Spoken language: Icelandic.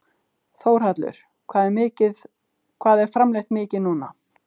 Þórhallur: Hvað er framleitt mikið núna?